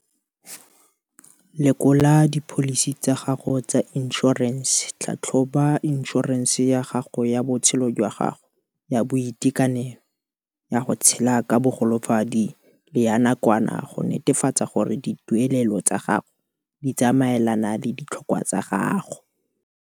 Lekola dipholisi tsa gago tsa inšorense Tlhatlhoba inšorense ya gago ya botshelo jwa gago, ya boitekanelo, ya go tshela ka bogolofadi le ya nakwana go netefatsa gore dituelelo tsa gago di tsamaelana le ditlhokwa tsa gago.